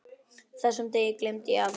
Þessum degi gleymi ég aldrei.